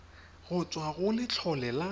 go tswa go letlole la